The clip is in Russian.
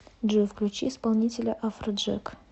джой включи исполнителя афроджек